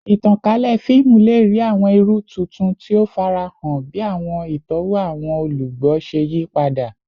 Itankalẹ fiimu le rii awọn iru tuntun ti o farahan bi awọn itọwo awọn olugbo ṣe yipada